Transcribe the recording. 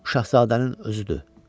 Bu şahzadənin özüdür.